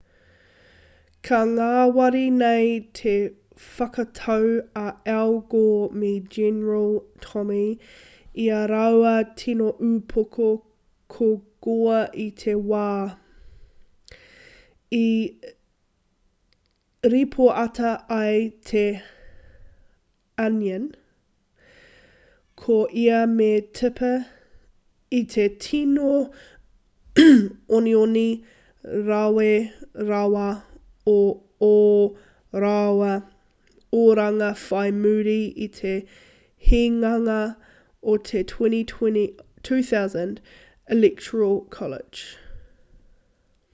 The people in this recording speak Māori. ka ngāwari nei te whakatau a al gore me general tommy i ā rāua tino upoko ko gore i te wā i ripoata ai te onion ko ia me tipper i te tīno onioni rawe rawa o ō rāua oranga whai muri i te hinganga o te 2000 electoral college